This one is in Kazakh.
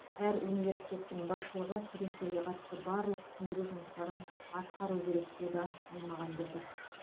әр университеттің басшылығы студенттерге қатысты барлық түсіндіру жұмыстарын атқаруы керек деді аймағамбетов